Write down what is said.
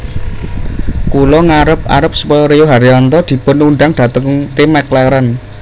Kula ngarep arep supaya Rio Haryanto dipun undang dateng tim McLaren